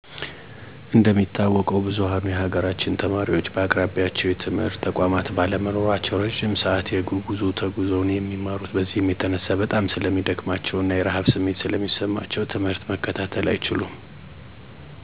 እንደሚታወቀው ብዝኋኑ የሀገራችን ተማሪወች በአቅራቢያቸው የትምህርት ተቋማት ባለመኖራቸው እረጅም ሰዐት የእግር ጉዞ ተጉዘው ነው የሚማሩት። በዚህም የተነሳ በጣም ስለሚደክማቸው እና የረሀብ ስሜት ስለሚሰማቸው ትምህርት መከታተል አይችሉም .ከዛም አልፎ በመንገድ ላይ የሚያጋጥማቸው አስቸጋሪ ነገሮች ሊያጋጥማቸው ይችላል። ለምሳሌ፦ በእንሰሳት ሊጠቁ ይችላሉ, ትምህርትቤት ለመድረስ በሚሮጡበት ጊዜ ሊወድቁ ይችላሉ። በተለይ በሴት እህቶቻችን ላይ የሚደርሰው ፆታዊ ጥቃት ሊረሳ አይችልም .ሴት ልጆች ላይ የጠለፋ, አስገድዶ የመደፈር እንዲሁም አካላዊ እና ስነልቦናዊ ጉዳት ይደርስባቸዋል። በዚህም የተነሳ በማህበረሰቡ መጠቋቆሚያ መሳለቂያ ይሆናል .ይህ እንይሆን ደግሞ ሳይፈልጉ ያለእድሜ ጋብቻ እንዲያደርጉ ይገደዳሉ።